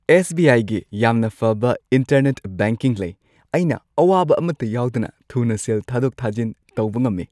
S. B. I. ꯒꯤ ꯌꯥꯝꯅ ꯐꯕ ꯏꯟꯇꯔꯅꯦꯠ ꯕꯦꯡꯀꯤꯡ ꯂꯩ꯫ ꯑꯩꯅ ꯑꯋꯥꯕ ꯑꯃꯠꯇ ꯌꯥꯎꯗꯅ ꯊꯨꯅ ꯁꯦꯜ ꯊꯥꯗꯣꯛ-ꯊꯥꯖꯤꯟ ꯇꯧꯕ ꯉꯝꯃꯤ꯫